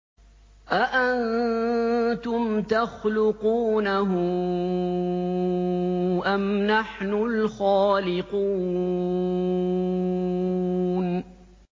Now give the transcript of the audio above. أَأَنتُمْ تَخْلُقُونَهُ أَمْ نَحْنُ الْخَالِقُونَ